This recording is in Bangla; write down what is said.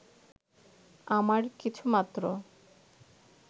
আমার কিছুমাত্র